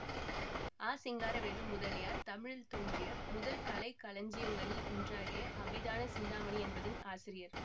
ஆ சிங்காரவேலு முதலியார் தமிழில் தோன்றிய முதற் கலைக்களஞ்சியங்களில் ஒன்றாகிய அபிதான சிந்தாமணி என்பதின் ஆசிரியர்